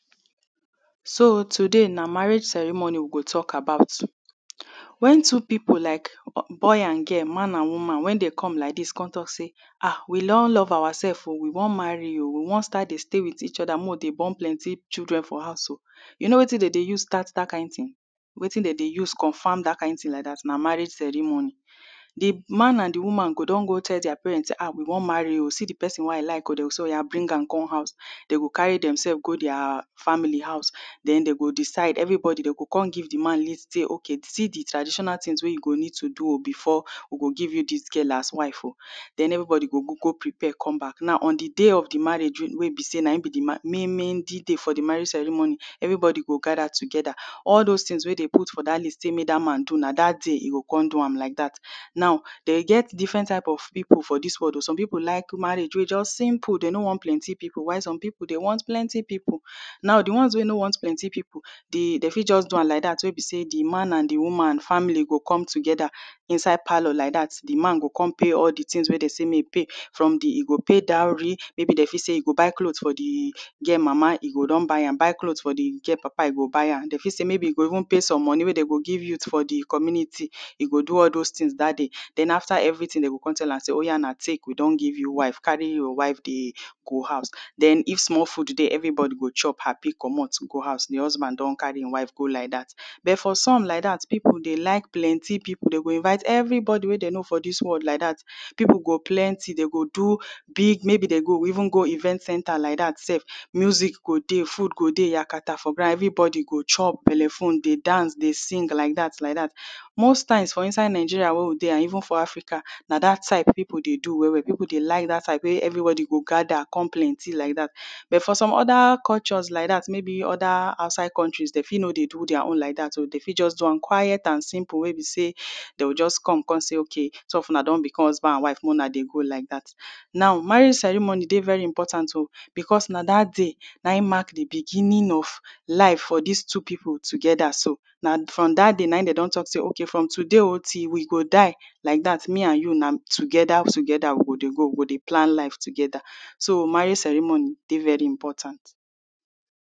so today nah marriage ceremony we go talk about when two people like be boy and girl man and woman when they come like this come talk say ah we don love ourselves o we wan marry o we wan start dey stay with each other make we dey born plenty children for house o you wetin dem dey use start that kind thing wetin them dey use confirm that kind thing like that nah marriage ceremony the man and the woman go don go tell their parent ah we wan marry o see the person wey I like o them go say oya bring am come house them go carry themselves go their family house then them go decide everybody them go come give the man list say okay see the traditional thing wey you go need to do o do o before we go give this girl as wife o then everybody go prepare come back now on the day of the marriage wey be say nah in be the main meaning D day for the marriage ceremony everybody go gather together all those things wey them put for that list say make that man do nah that day e go come do am like that now they get different type of people for this world o some people like marriage wey just simple they no want plenty people people while some people they want plenty people now dey once wey no want plenty people the they fit just do am like that wey be say the man and the woman family go come together inside palor like that the man go come pay all the things wey they say make e pay from the e go pay dowry maybe them fit say e go buy cloth for the girl mama e go don buy am buy cloth for the girl papa e go buy am they fit say maybe e go even pay some money wey dem go give youths for the community e go do all those things for that day then after everything them go come tell am say oya now take we don give you wife carry your wife dey go house then if small food dey everybody go chop happy comot go house the husband don carry in wife t go like that but for some like that people dey like plenty people o them go invite everybody wey them know for this world like that people go plenty them go do big maybe them go even go event centre like that sef music go dey food go dey yaka ta for ground everybody go chop bele full dey dance dey sing like that like that most time for Nigeria wey we dey and even for Africa nah that type people dey do well well people dey like that type wey everybody go gather come plenty like that but for other country like that maybe for other outside countries them fit no dey do their own like that o they fit just do am quiet and simple wey be say they'll just come come say okay two of una don become husband and wife make una just dey go like that now marriage ceremony dey very important o because nah that day nah in mark the beginning of life for these two people together so nah from that day nah in them don talk say okay o from to day o till we go die like that me and you nah together together we go dey go we go dey plan life together so marriage ceremony dey very important